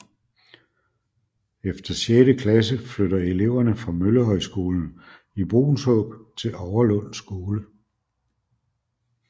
Efter sjette klasse flytter eleverne fra Møllehøjskolen i Bruunshåb til Overlund Skole